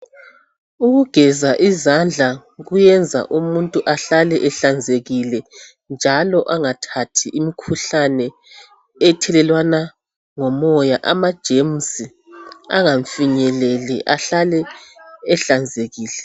Ukugeza izandla kuyenza umuntu ahlale ehlanzekileyo njalo angathathi imikhuhlane ethelelwana ngomoya. Amajemusi angamfinyeleli ahlale ehlanzekile.